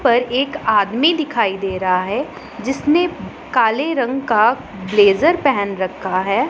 पर एक आदमी दिखाई दे रहा है जिसने काले रंग का ब्लेजर पेहन रखा है।